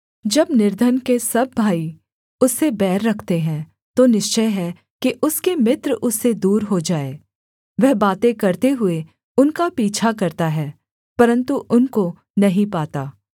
जब निर्धन के सब भाई उससे बैर रखते हैं तो निश्चय है कि उसके मित्र उससे दूर हो जाएँ वह बातें करते हुए उनका पीछा करता है परन्तु उनको नहीं पाता